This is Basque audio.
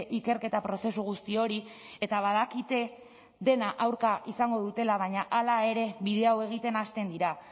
ikerketa prozesu guzti hori eta badakite dena aurka izango dutela baina hala ere bide hau egiten hasten dira